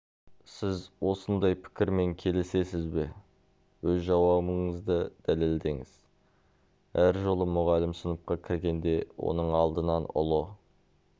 сіз осындай пікірмен келісесіз бе өз жауабыңызды дәлелдеңіз әр жолы мұғалім сыныпқа кіргенде оның алдынан ұлы